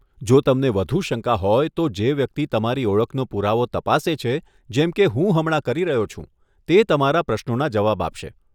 જો તમને વધુ શંકા હોય, તો જે વ્યક્તિ તમારી ઓળખનો પુરાવો તપાસે છે, જેમ કે હું હમણાં કરી રહ્યો છું, તે તમારા પ્રશ્નોના જવાબ આપશે.